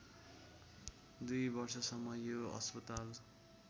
दुई वर्षसम्म यो अस्पताल